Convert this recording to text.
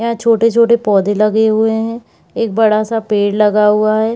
यहां छोटे-छोटे पौधे लगे हुए हैं एक बड़ा-सा पेड़ लगा हुआ है।